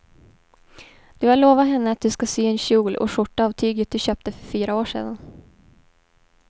Du har lovat henne att du ska sy en kjol och skjorta av tyget du köpte för fyra år sedan.